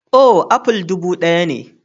Oh, aful dubu ɗaya ne.